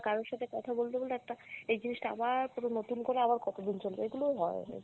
কারোর সাথে কোথা বলতে বলতে একটা এই জিনিসটা আবার কোনও নতুন করে আবার কতোদিন চলবে, এগুলোও হয়, এগুলো।